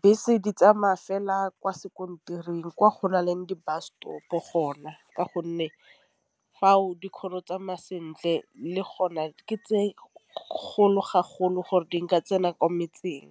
Bese di tsamaya ka fela kwa sekontiring kwa go na leng di-bus stop gona ka gonne fao di kgone go tsamaya sentle le gona ke tse gore di nka tsena kwa metseng.